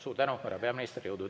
Suur tänu, härra peaminister!